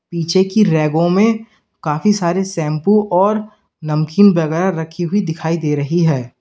पीछे की रैगों में काफी सारे शैम्पू और नमकीन वगैरह रखी हुई दिखाई दे रही है।